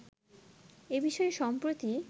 এ বিষয়ে সম্প্রতি